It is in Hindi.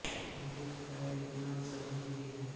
इस गीत का एक नाम सजनी भी है